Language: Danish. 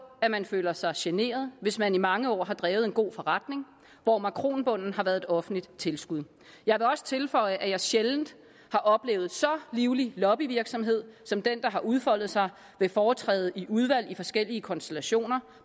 at man føler sig generet hvis man i mange år har drevet en god forretning hvor makronbunden har været et offentligt tilskud jeg vil også tilføje at jeg sjældent har oplevet så livlig en lobbyvirksomhed som den der har udfoldet sig ved foretræde i udvalget i forskellige konstellationer